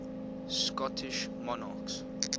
scottish monarchs